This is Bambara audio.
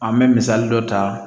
An bɛ misali dɔ ta